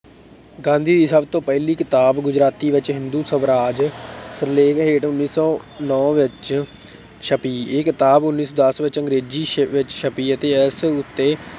ਗਾਂਧੀ ਦੀ ਸਭ ਤੋਂ ਪਹਿਲੀ ਕਿਤਾਬ ਗੁਜਰਾਤੀ ਵਿੱਚ ਹਿੰਦੂ ਸਵਰਾਜ ਸਿਰਲੇਖ ਹੇਠ ਉੱਨੀ ਸੌ ਨੋਂ ਵਿੱਚ ਛਪੀ, ਇਹ ਕਿਤਾਬ ਉੱਨੀ ਸੌ ਦਸ ਵਿੱਚ ਅੰਗਰੇਜ਼ੀ ਛ ਵਿੱਚ ਛਪੀ ਅਤੇ ਇਸ ਉੱਤੇ